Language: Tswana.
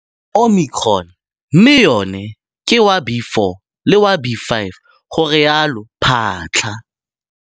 Omicron mme yona ke wa B.4 le wa B.5, garialo Phaahla.